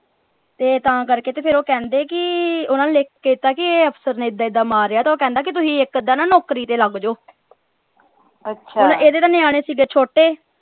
ਤੇ ਤਾਂ ਕਰਕੇ ਤੇ ਫੇਰ ਉਹ ਕਹਿੰਦੇ ਕਿ ਓਹਨਾ ਨੇ ਲਿਖ ਕੇ ਦਿਤਾ ਕਿ ਅਫਸਰ ਨੇ ਏਦਾਂ ਏਦਾਂ ਮਾਰਿਆ ਤੇ ਉਹ ਕਹਿੰਦਾ ਕਿ ਤੁਸੀਂ ਇਕ ਅੱਧਾ ਨਾ ਨੌਕਰੀ ਤੇ ਲੱਗ ਜਾਓ ਹੁਣ ਇਹਦੇ ਤਾਂ ਨਿਆਣੇ ਸਿਗੇ ਛੋਟੇ।